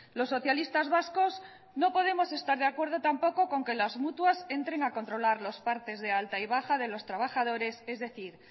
los socialistas vascos no podemos estar de acuerdo tampoco con que las mutuas entren a controlar los partes de alta y baja de los trabajadores es decir